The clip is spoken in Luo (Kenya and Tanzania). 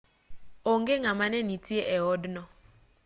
onge ng'ama ne nitie e odno